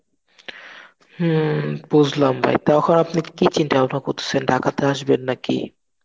বুঝলাম ভাই. তখন আপনি কি চিন্তা ভাবনা করতেছেন ঢাকাতে আসবেন নাকি?